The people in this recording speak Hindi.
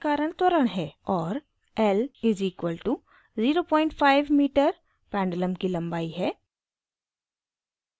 l = 05 मीटर पेंडुलम की लम्बाई है